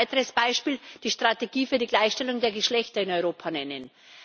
Ich möchte als weiteres Beispiel die Strategie für die Gleichstellung der Geschlechter in Europa nennen.